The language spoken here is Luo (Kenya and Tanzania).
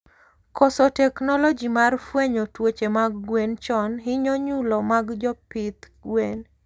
Koso teknology mar fwenyo tuoche mag gwen chon hinyo nyulo mag jopith gwen